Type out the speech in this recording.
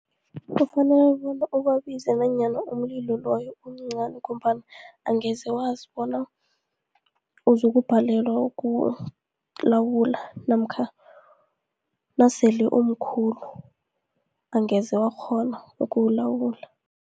Kufanele bona ubabize nanyana umlilo loyo umncani, ngombana angeze wazi bona uzokubhalelwa ukuwulawula, namkha nasele umkhulu angeze wakghona ukuwulawula.